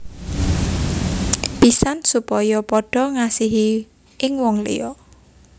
Pisan supaya padha ngasihi ing wong liya